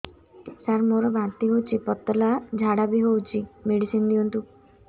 ସାର ମୋର ବାନ୍ତି ହଉଚି ପତଲା ଝାଡା ବି ହଉଚି ମେଡିସିନ ଦିଅନ୍ତୁ